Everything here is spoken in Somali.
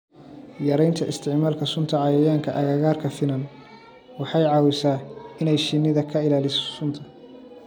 Yaraynta isticmaalka sunta cayayaanka agagaarka finan waxay caawisaa inay shinnida ka ilaaliso sunta.